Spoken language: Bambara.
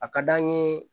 A ka d'an ye